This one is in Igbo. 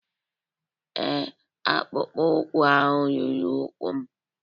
Ee, akpụkpọ ụkwụ ahụ ruru ụkwụ m